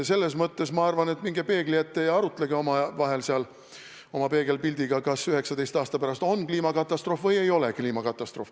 Selles mõttes ma arvan, et minge peegli ette ja arutage omavahel seal oma peegelpildiga, kas 11 aasta pärast on kliimakatastroof või ei ole.